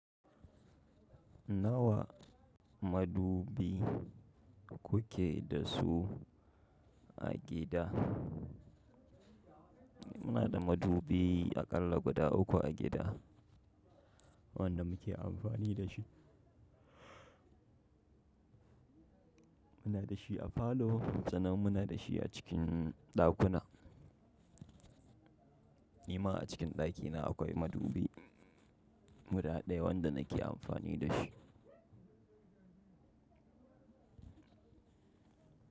Nawa madubi kuke da su a gida? Muna da madubi aƙalla guda uku a gida wanda muke amfani da shi. Muna da shi a falo, sannan muna da shi a cikin ɗakuna. Nima a cikin ɗakina akwai madubi guda ɗaya wanda nake amfani da shi.